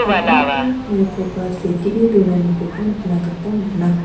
pakmao maikoba setee donanikoba nikna gita man·a.